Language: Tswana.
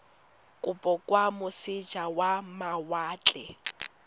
kopo kwa moseja wa mawatle